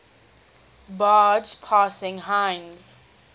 barge passing heinz